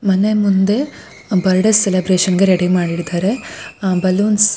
ಮನೆ ಮುಂದೆ birthday celebration ಗೆ ರೆಡಿ ಮಾಡಿದ್ದಾರೆ. Ah balloons --